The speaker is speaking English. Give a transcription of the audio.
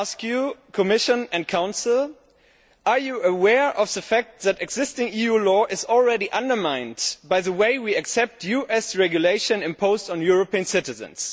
And I ask you, Commission and Council, whether you are aware of the fact that existing EU law is already undermined by the way we accept US regulation imposed on European citizens?